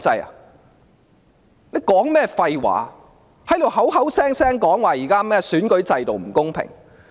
他在說甚麼廢話，口口聲聲說現在的選舉制度不公平？